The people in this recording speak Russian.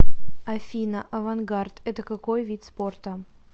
афина авангард это какой вид спорта